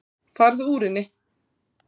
Farðu úr henni.